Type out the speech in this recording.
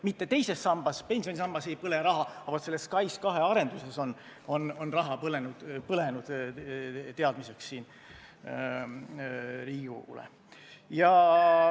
Mitte teises sambas, pensionisambas ei põle raha, vaid selles SKAIS2 arenduses on raha põlenud – teadmiseks Riigikogule.